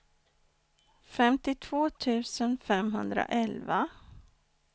femtiotvå tusen femhundraelva